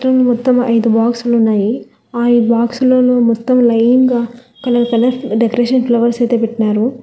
మొత్తం ఐదు బాక్స్ లున్నాయి ఆ ఐదు బాక్సులలో మొత్తం లైన్ గా కలర్ కలర్ డెకరేషన్ ఫ్లవర్స్ అయితే పెట్నారు.